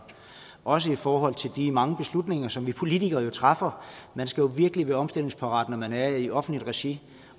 også i forhold til de mange beslutninger som vi politikere træffer man skal virkelig være omstillingsparat når man er i offentligt regi